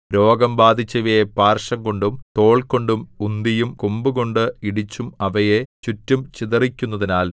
രോഗം ബാധിച്ചവയെ പാർശ്വംകൊണ്ടും തോൾകൊണ്ടും ഉന്തിയും കൊമ്പുകൊണ്ട് ഇടിച്ചും അവയെ ചുറ്റും ചിതറിക്കുന്നതിനാൽ